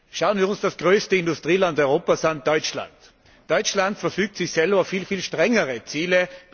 Schauen wir uns das größte Industrieland Europas an Deutschland. Deutschland verfügt sich selbst viel strengere Ziele.